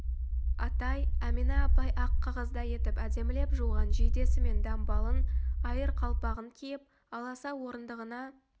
атай әмина апай ақ қағаздай етіп әдемілеп жуған жейдесі мен дамбалын айыр қалпағын киіп аласа орындығына